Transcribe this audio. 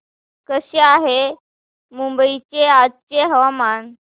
कसे आहे मुंबई चे आजचे हवामान